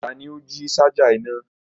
Tani o ji ṣaja ina?